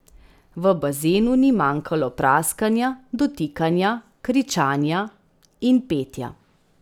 V bazenu ni manjkalo praskanja, dotikanja, kričanja in petja.